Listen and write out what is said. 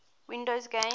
windows games